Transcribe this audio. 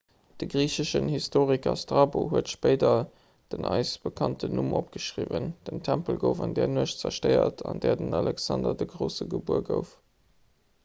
de griicheschen historiker strabo huet spéider den eis bekannten numm opgeschriwwen den tempel gouf an där nuecht zerstéiert an där den alexander de grousse gebuer gouf